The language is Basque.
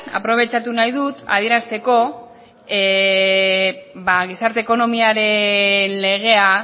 aprobetxatu nahi dut adierazteko gizarte ekonomiaren legea